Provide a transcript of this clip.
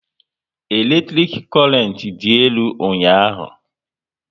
Eletrik korent dị elu ụnyaahụ